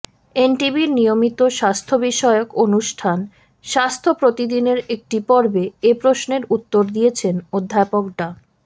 এনটিভির নিয়মিত স্বাস্থ্যবিষয়ক অনুষ্ঠান স্বাস্থ্য প্রতিদিনের একটি পর্বে এ প্রশ্নের উত্তর দিয়েছেন অধ্যাপক ডা